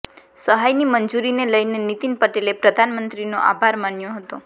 સહાયની મંજૂરીને લઈને નીતિન પટેલે પ્રધાનમંત્રીનો આભાર માન્યો હતો